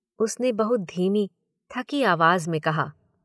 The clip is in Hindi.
उसने बहुत धीमी, थकी आवाज़ में कहा।